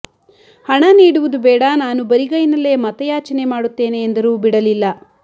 ಹಣ ನೀಡುವುದು ಬೇಡ ನಾನು ಬರಿಗೈನಲ್ಲೆ ಮತಯಾಚನೆ ಮಾಡುತ್ತೇನೆ ಎಂದರೂ ಬಿಡಲಿಲ್ಲ